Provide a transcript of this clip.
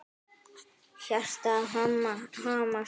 Hjartað hamast.